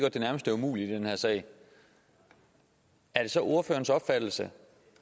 at det nærmest er umuligt i den her sag er det så ordførerens opfattelse